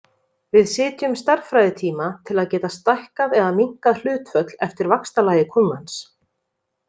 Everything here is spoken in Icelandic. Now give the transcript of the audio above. Við sitjum stærðfræðitíma til að geta stækkað eða minnkað hlutföll eftir vaxtarlagi kúnnans.